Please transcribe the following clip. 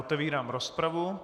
Otevírám rozpravu.